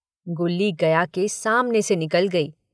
गुल्ली गया के सामने से निकल गई।